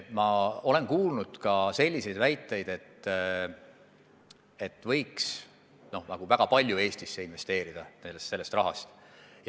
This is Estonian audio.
Ma olen kuulnud väiteid, et väga palju sellest rahast võiks Eestisse investeerida.